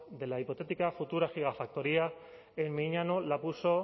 de la hipotética futura gigafactoría en miñano la puso